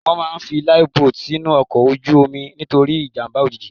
Wọ́n máà ń fi Life boat sínú ọkọ̀ ojú omi nítorí ìjàmbá òjijì.